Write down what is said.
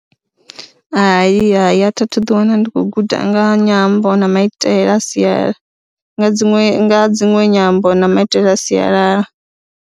Hai, hai, a thi a thu ḓiwana ndi khou guda nga ha nyambo na maitele a sialala nga dziṅwe na dziṅwe nyambo na maitele a sialala.